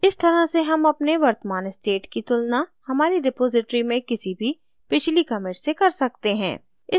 इस तरह से हम अपने वर्तमान state की तुलना हमारी repository में किसी भी पिछली commit से कर सकते हैं